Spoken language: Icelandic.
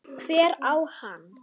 Hver á hana?